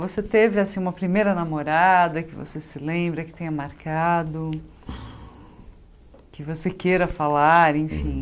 Você teve assim uma primeira namorada que você se lembra, que tenha marcado, que você queira falar, enfim?